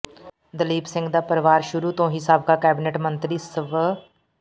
ਦਲੀਪ ਸਿੰਘ ਦਾ ਪਰਿਵਾਰ ਸ਼ੁਰੂ ਤੋਂ ਹੀ ਸਾਬਕਾ ਕੈਬਨਿਟ ਮੰਤਰੀ ਸਵ